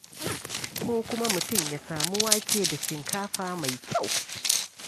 Ko kuma mutum ya samu wake da shinkafa mai kyau.